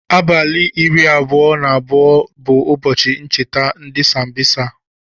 Abali iri abụọ na abụọ bu ụbọchi ncheta ndi sambosa.